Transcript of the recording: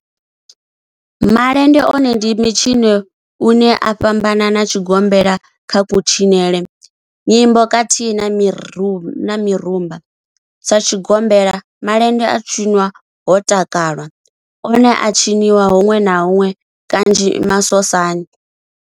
Malende one ndi mitshino une u a fhambana na tshigombela kha kutshinele, nyimbo khathihi na mirumba. Sa tshigombela, malende a tshinwa ho takalwa, one a a tshiniwa hunwe na hunwe kanzhi masosani.